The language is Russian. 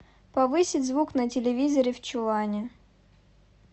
повысить звук на телевизоре в чулане